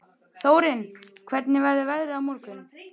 Þórinn, hvernig verður veðrið á morgun?